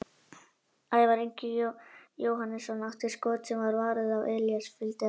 Ævar Ingi Jóhannesson átti skot sem var varið og Elías fylgdi eftir.